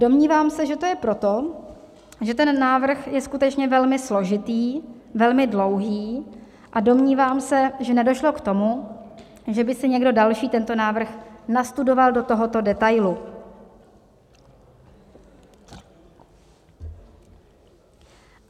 Domnívám se, že to je proto, že ten návrh je skutečně velmi složitý, velmi dlouhý, a domnívám se, že nedošlo k tomu, že by si někdo další tento návrh nastudoval do tohoto detailu.